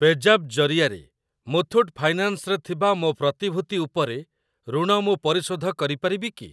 ପେଜାପ୍ ଜରିଆରେ ମୁଥୁଟ୍ ଫାଇନାନ୍ସ୍ ରେ ଥିବା ମୋ ପ୍ରତିଭୂତି ଉପରେ ଋଣ ମୁଁ ପରିଶୋଧ କରିପାରିବି କି?